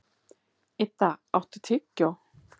Idda, áttu tyggjó?